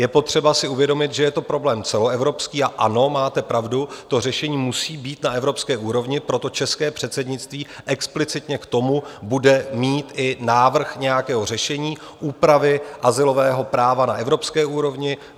Je potřeba si uvědomit, že je to problém celoevropský, a ano, máte pravdu, to řešení musí být na evropské úrovni, proto české předsednictví explicitně k tomu bude mít i návrh nějakého řešení úpravy azylového práva na evropské úrovni.